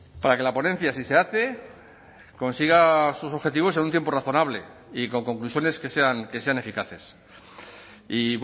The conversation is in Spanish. para que la ponencia si se hace consiga sus objetivos en un tiempo razonable y con conclusiones que sean eficaces y